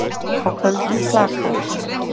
Á köldum klaka